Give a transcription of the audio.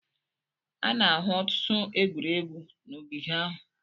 A na-ahụ ọtụtụ egwuregwu n'ogige ahụ.